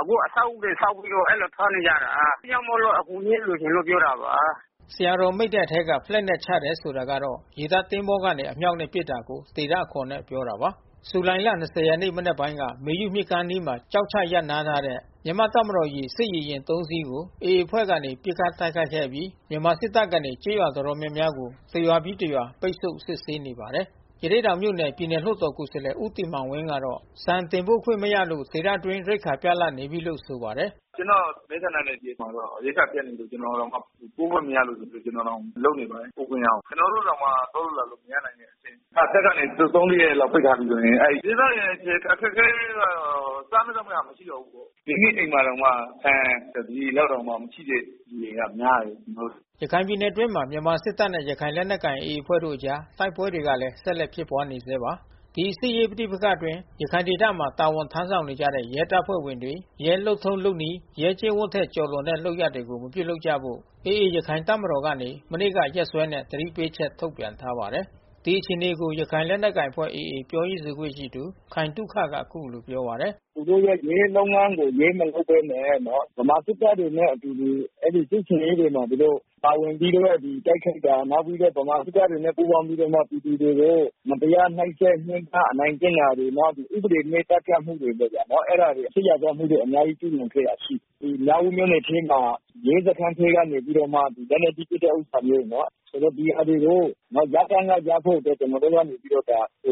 အခုအဆောက်အဦးတွေဆောက်ပြီးတော့ အဲဒီလိုစားနေကြတာ။ အဲဒါကြောင့်မို့လို့အကူညီလေး လိုချင် လို့ပြောတာပါ။” ဆရာတော်မိန့်တဲ့ထဲက ဖလက်နဲ့ချတယ်ဆိုတာကတော့ ရေတပ်သင်္ဘောကနေ အမြောက်နဲ့ပစ်တာကို ဒေသအခေါ် နဲ့ ပြောတာပါ။ ဇူလိုင်လ ရက်မနက်ပိုင်းက မေယုမြစ်ကမ်းအနီးမှာ ကျောက်ချရပ်နားထားတဲ့ တပ်မတော် စစ်ရေယာဉ် ၃ စီး ကိုAA အဖွဲ့ကနေ ပစ်ခတ်တိုက်ခိုက်ခဲ့အပြီး မြန်မာစစ်တပ် ကနေ ကျေးရွာတော်တော်များများကို တစ်ရွာပြီး တစ်ရွာ ပိတ်ဆို့ စစ်ဆေးနေပါတယ်။ ရသေ့တောင်မြို့နယ် ပြည်နယ်လွှတ်တော်ကိုယ်စားလှယ် ဦးတင်မောင်ဝင်းကတော့ ဆန်တင်ပို့ခွင့် မရလို့ ဒေသ အတွင်း ရိက္ခာပြတ်လပ်နေပြီလို့ဆိုပါတယ်။ “ကျွန်တော့် မဲဆန္ဒနယ်မြေမှာတော့ ရိက္ခာပြတ်နေပြီ ကျွန်တော်တောင်ပို့ခွင့်မရလို့ ကျွန်တော်တောင် လုပ်နေပါတယ် ပို့ခွင့်ရအောင်။ ကျွန်တော်တို့တောင်မှ သွားလို့လာလို့မရနိုင်ဘူးလေ။ တပ်ကနေသုံး လေးရက်ပိတ်ထားပြီးဆိုရင် အဲဒီဒေသခံအခက်ခဲလေးကတော့ စားမယ့် သောက်မယ့်ဟာမရှိတော့ဘူးပေါ့။ ဒီနေ့အိမ်မှာတောင်မှ ဆန်တပြည်လောက် တောင် မရှိတဲ့သူတွေကများတယ်။” ရခိုင်ပြည်နယ်အတွင်းမှာမြန်မာစစ်တပ်နဲ့ရခိုင်လက်နက်ကိုင်AAအဖွဲ့တို့အကြား တိုက်ပွဲတွေကလည်း ဆက်လက်ဖြစ် နေဆဲပါ။ ဒီစစ်ရေးပဋိပက္ခတွေအတွင်း ရခိုင်ဒေသမှာတာဝန်ထမ်းဆောင်နေကြတဲ့ ရဲတပ်ဖွဲ့ဝင်တွေ ရဲလုပ်ထုံးလုပ်နည်း၊ ရဲကျင့် ဝတ် ထက်ကျော်လွန်တဲ့လုပ်ရပ်တွေကို မပြုလုပ်ကြဖို့ AAရခိုင်တပ်တော် ကနေ မနေ့ကရက်စွဲနဲ့ သတိပေးချက် ထုတ်ပြန်ထားပါတယ်။ ဒီအခြေအနေကို ရခိုင်လက်နက်ကိုင်အဖွဲ့AAပြောရေးဆိုခွင့်ရှိသူ ခိုင်သုခက အခုလိုပြောပါတယ်။ “သူတို့ရဲ့ ရဲလုပ်ငန်းကို ရဲမလုပ်ဘဲနဲ့ ဗမာစစ်တပ်တွေနဲ့အတူတူ စစ်ဆင်ရေးမှာ သူတို့ပါဝင်ပြီးတော့ တိုက်ခိုက်တာ နောက်ပြီးတော့ ဗမာစစ်တပ်တွေနဲ့ပူးပေါင်းပြီးတော့ပြည်သူတွေကို မတရားနှိပ်စက် ညှင်းပမ်း အနိုင်ကျင့်တာတွေ နောက် ဥပဒေမဲ့သတ်ဖြတ်တာတွေ လုပ်တာ။ အဲတာတွေ စစ်ရာဇဝတ်မှုတွေ အများကြီးကျူးလွန်ခဲ့တာရှိတယ်။ ဒီမြောက်ဦးမြို့ နယ်ထဲမှာ ရဲစခန်းထဲကနေ လက်နက်ကြီး ပစ်တဲ့ဥစ္စာမျိုး ဆိုတော့ ဒီဟာတွေကို ရပ်တန်းကရပ်ဖို့ ကျွန်တော်တို့ကနေပြီး တော့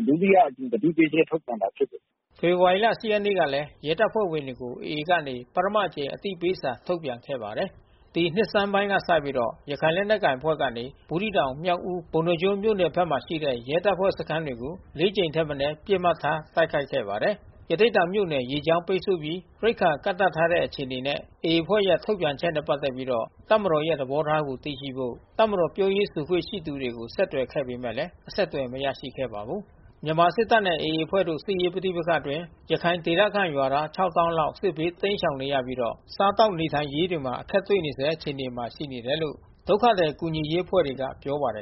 ဒုတိယအကြိမ်သတိပေးချက်ထုတ်ပြန်တာဖြစ်တယ်။” ဖေဖေါ်ဝါရီလ ၈ ရက်နေ့ ကလည်း ရဲတပ်ဖွဲ့တွေကို AA ကနေ ပထမအကြိမ်အသိပေးစာ ထုတ်ပြန်ခဲ့ပါတယ်။ ဒီနှစ်ဆန်းပိုင်းကစပြီး ရခိုင်လက်နက်ကိုင်အဖွဲ့ကနေ ဘူးသီးတောင် မြောက်ဦး ပုဏ္ဍားကျွန်းမြို့နယ်ဖက်မှာ ရှိတဲ့ ရဲတပ် ဖွဲ့စခန်းတွေကို ကြိမ်ထက်မနည်း ပစ်မှတ်ထားတိုက်ခိုက်ခဲ့ပါတယ်။ ရသေ့တောင်မြို့နယ်၊ ရေကြောင်းလမ်းပိတ်ဆို့ပြီး ရိက္ခာကန့်သတ်ထားတဲ့ အခြေအနေနဲ့ AAအဖွဲ့ရဲ့ ထုတ်ပြန်ချက်နဲ့ ပက်သက်ပြီး တပ်မတော် ရဲ့သဘောထားကိုသိရှိဖို့ တပ်မတော်ပြောရေးဆိုခွင့်ရှိသူတွေကို ဆက်သွယ်ခဲ့ပေမဲ့ အဆက်သွယ်မရရှိခဲ့ပါဘူး။ မြန်မာစစ်တပ်နဲ့AAအဖွဲ့တို့စစ်ရေးပဋိပက္ခအတွင်း ရခိုင်ဒေသခံရွာသား လောက် စစ်ဘေးတိမ်းရှောင်နေရပြီး တော့ စားသောက်နေထိုင်ရေးတွေမှာအခက်တွေ့နေဆဲအခြေအနေမှာရှိနေတယ်လို့ ဒုက္ခသည်ကူညီရေးအဖွဲ့ တွေ ကပြောပါတယ်